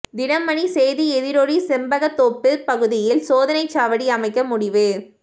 தினமணி செய்தி எதிரொலி செண்பகத்தோப்பு பகுதியில் சோதனைச் சாவடி அமைக்க முடிவு